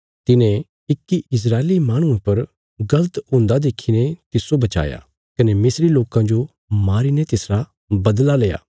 तिने इक्की इस्राएली माहणुये पर गल़त हुंदा देखीने तिस्सो वचाया कने मिस्री लोकां जो मारीने तिसरा बदला लेया